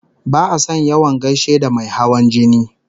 Ba'a son yawan gaishe da mai hawan jini